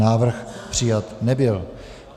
Návrh přijat nebyl.